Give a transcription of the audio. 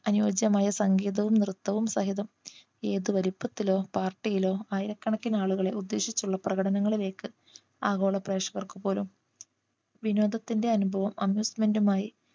അനുയോജ്യമായ സംഗീതവും നൃത്തവും സഹിതം ഏതു വലിപ്പത്തിലോ party യിലോ ആയിരക്കണക്കിന് ആളുകളെ ഉദ്ദേശിച്ചുള്ള പ്രകടനങ്ങളിലേക്ക് ആഗോള പ്രേഷകർക്ക് പോലും വിനോദത്തിന്റെ അനുഭവം amusement മായി